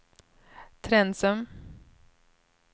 Trensum